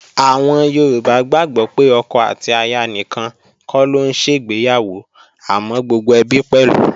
Àwọn Yorùbá gbàgbó pé ọkọ àti aya nìkan kọ́ ló ń ṣègbéyàwó àmọ́ gbogbo ẹbí pẹ̀lú